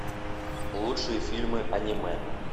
лучшие фильмы аниме